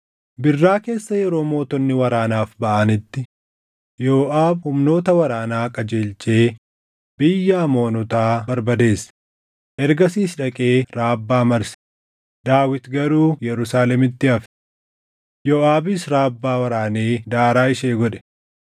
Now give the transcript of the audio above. Birraa keessa yeroo mootonni waraanaaf baʼanitti Yooʼaab humnoota waraanaa qajeelchee biyya Amoonotaa barbadeesse; ergasiis dhaqee Rabbaa marse; Daawit garuu Yerusaalemitti hafe. Yooʼaabis Raabbaa waraanee daaraa ishee godhe.